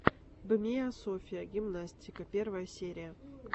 бмиасофия гимнастика первая серия